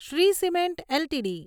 Shri cement LTD